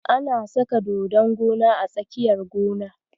Ana saka dodon gona a tsakiyar gona.